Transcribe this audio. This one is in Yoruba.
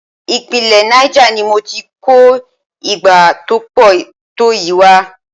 Ìpínlẹ̀ Niger ni mo ti kó igbá tó pọ̀ tó yìí wá.